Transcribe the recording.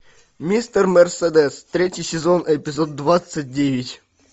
мистер мерседес третий сезон эпизод двадцать девять